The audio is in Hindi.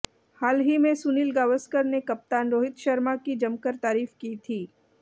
हाल ही में सुनील गावसकर ने कप्तान रोहित शर्मा की जमकर तारीफ की थी